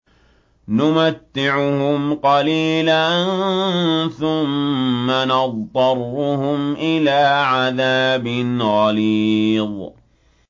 نُمَتِّعُهُمْ قَلِيلًا ثُمَّ نَضْطَرُّهُمْ إِلَىٰ عَذَابٍ غَلِيظٍ